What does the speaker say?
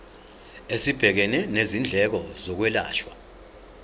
esibhekene nezindleko zokwelashwa